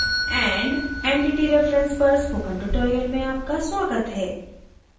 user group and entity reference पर spoken tutorial में आपका स्वागत है